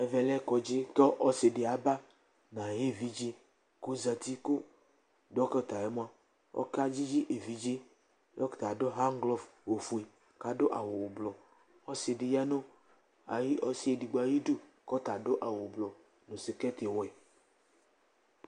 Ɛvɛ lɛ kɔdzɩ kʋ ɔsɩ dɩ aba nʋ ayʋ evidze kʋ ɔzati kʋ dɔkɩta yɛ mʋa, ɔkedzidze yɛ Dɔkɩta yɛ adʋ hanglɔf ofue kʋ adʋ awʋ ʋblɔ Ɔsɩ dɩ ya nʋ ayʋ ɔsɩ edigbo ayidu kʋ ɔta adʋ awʋ ʋblɔ sɩkɛtɩwɛ